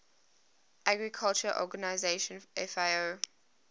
agriculture organization fao